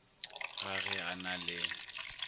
ga ge a na le